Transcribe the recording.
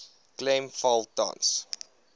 klem val tans